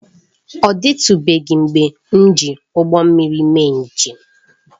Ọ dịtụbeghị mgbe m ji ụgbọ mmiri mee njem